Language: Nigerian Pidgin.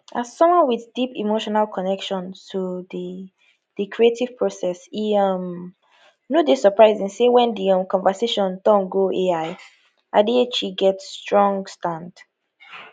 as someone with deep emotional connection to di di creative process e um no dey surprising say wen di um conversation turn go ai adichie get strong stand